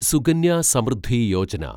Sukanya Samriddhi Yojana